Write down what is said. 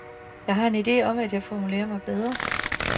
Jeg har en ide om, at jeg formulerer mig bedre.